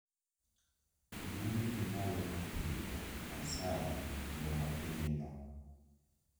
Dwondi nimalo ahinya asayi nwo mapiny no